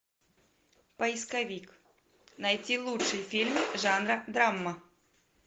поисковик найти лучший фильм жанра драма